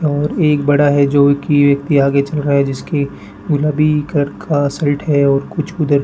और एक बड़ा है जोकि एक व्यक्ति आगे चल रहा है जिसके गुलाबी कलर का शर्ट है और कुछ उधर --